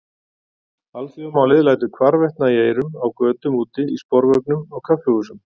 Alþjóðamálið lætur hvarvetna í eyrum, á götum úti, í sporvögnum, á kaffihúsum.